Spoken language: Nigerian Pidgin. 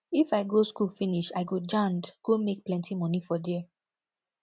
if i go school finish i go jand go make plenti moni for there